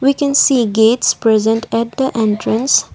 we can see gates present at the entrance.